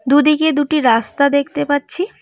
দুদিকে দুটি রাস্তা দেখতে পাচ্ছি।